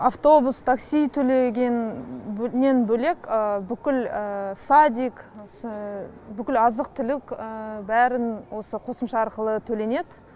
автобус такси төлегеннен бөлек бүкіл садик осы бүкіл азық түлік бәрін осы қосымша арқылы төленеді